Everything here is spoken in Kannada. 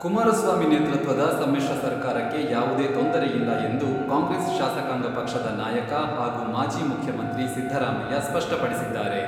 ಕುಮಾರಸ್ವಾಮಿ ನೇತೃತ್ವದ ಸಮ್ಮಿಶ್ರ ಸರ್ಕಾರಕ್ಕೆ ಯಾವುದೇ ತೊಂದರೆಯಿಲ್ಲ ಎಂದು ಕಾಂಗ್ರೆಸ್ ಶಾಸಕಾಂಗ ಪಕ್ಷದ ನಾಯಕ ಹಾಗೂ ಮಾಜಿ ಮುಖ್ಯಮಂತ್ರಿ ಸಿದ್ದರಾಮಯ್ಯ ಸ್ಪಷ್ಟಪಡಿಸಿದ್ದಾರೆ.